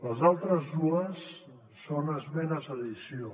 les altres dues són esmenes d’addició